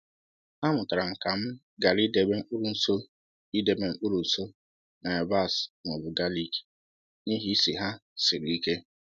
Amụtara m ka m ghara idebe mkpụrụ nso idebe mkpụrụ nso na yabasị ma ọ bụ galik n’ihi isi ha siri ike